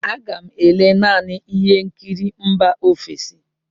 Aga m ele naanị ihe nkiri mba ofesi.